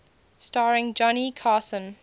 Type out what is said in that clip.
starring johnny carson